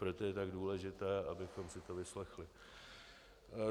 Proto je tak důležité, abychom si to vyslechli.